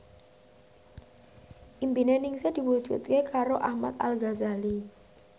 impine Ningsih diwujudke karo Ahmad Al Ghazali